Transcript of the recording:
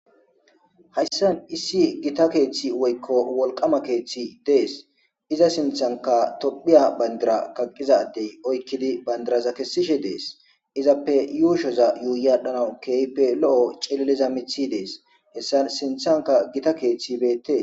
Hayssan issi gita keeththi woykko wolqama keeththi dees iza sinthanka tophiya bandira kaqqizadey oykkidi bandiraza kessishe dees izappe yuushoza yuuyaadhanawu keeype lo'o celeliza mithi dees hessan sinthanka gita keeththi beette.